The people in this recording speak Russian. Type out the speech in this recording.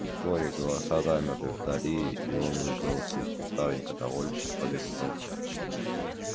вскоре голоса замерли вдали и он выбрался из кустарника довольный что побег удался